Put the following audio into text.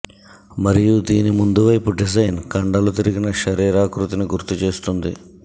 మరియు దీని ముందు వైపు డిజైన్ కండలు తిరిగిన శరీరాకృతిని గుర్తు చేస్తుంది